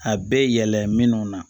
A bɛɛ yɛlɛmana